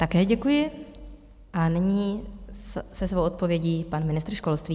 Také děkuji a nyní se svou odpovědí pan ministr školství.